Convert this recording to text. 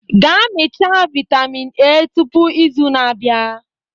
gaa mechaa vitamin A tupu izu na-abịa